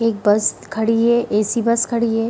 एक बस खड़ी है। ऐ.सी. बस खड़ी है।